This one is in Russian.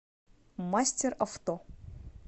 мастеравто